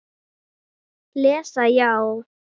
Lesa já?